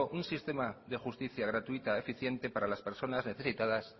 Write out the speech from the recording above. un sistema de justicia gratuita eficiente para las personas necesitadas